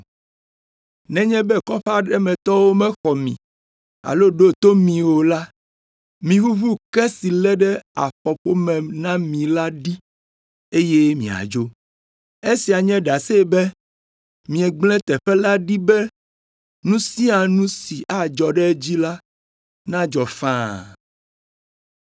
Nenye be kɔƒe aɖe me tɔwo mexɔ mi alo ɖo to mi o la, miʋuʋu ke si lé ɖe afɔƒome na mi la ɖi, eye miadzo. Esia nye ɖase be miegblẽ teƒe la ɖi be nu sia nu si adzɔ ɖe edzi la nadzɔ faa.”